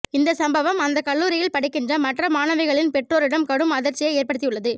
இந்த சம்பவம் அந்த கல்லூரியில் படிக்கின்ற மற்ற மாணவிகளின் பெற்றோரிடம் கடும் அதிர்ச்சியை ஏற்படுத்தி உள்ளது